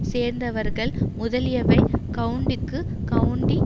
சேர்ந்தவர்கள் முதலியவை கவுண்டிக்கு கவுண்டி